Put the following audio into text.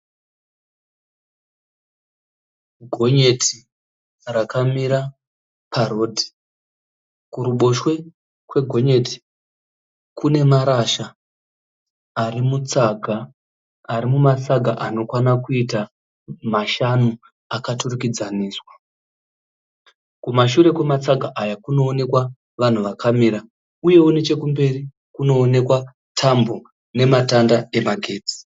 Gonyeti rakamira parodhi kuruboshwe kwegonyeti kune marasha ari mutsaga ari mumatsaga anokwana kuita mashanu akaturikidzaniswa kumashure kwematsaga Aya kunoonekwa vanhu vakamira uyewo nechekumberi kunoonekwa Tambo nematanda emagetsi